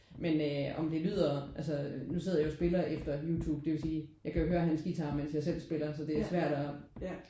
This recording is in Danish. Men øh om det lyder altså nu sidder jeg jo og spiller efter Youtube. Det vil sige jeg kan jo ikke høre hans guitar mens jeg selv spiller så det er svært at